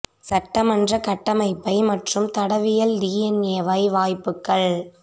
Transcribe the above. சட்டமன்ற கட்டமைப்பை மற்றும் தடயவியல் டி என் ஏ யை வாய்ப்புக்கள்